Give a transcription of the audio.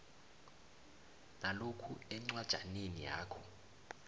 nalokhu encwajaneni yakho